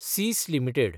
सीस limited